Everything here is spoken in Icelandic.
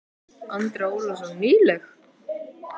Andri Ólafsson: Nýleg?